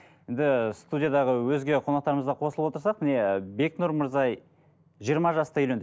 енді студиядағы өзге қонақтарымыз да қосылып отырсақ міне бекнұр мырза жиырма жаста үйленді